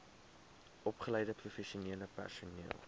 opgeleide professionele personeel